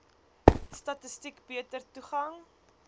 statistiek beter toegang